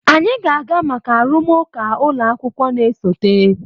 anyị ga-aga maka arụmụka ụlọ akwụkwọ na-esote.